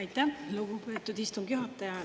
Aitäh, lugupeetud istungi juhataja!